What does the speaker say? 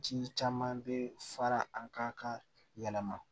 Ji caman bɛ fara an ka kan yɛlɛma